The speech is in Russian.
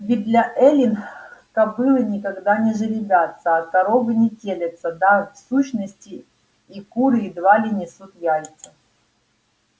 ведь для эллин кобылы никогда не жеребятся а коровы не телятся да в сущности и куры едва ли несут яйца